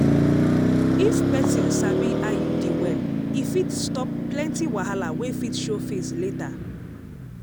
if person sabi iud well e fit stop plenty wahala wey fit show face later.